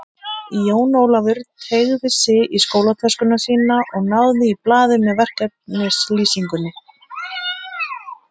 Jón Ólafur teygði sig í skólatöskuna sína og náði í blaðið með verkefnislýsingunni.